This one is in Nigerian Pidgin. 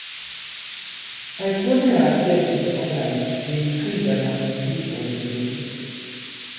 exposing ourself to sunlight dey increase vitamin d for di body